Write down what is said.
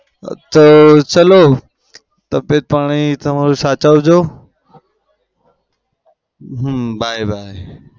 હા તો ચાલો. તબિયત પાણી તમારું સાચવજો. Hmm by by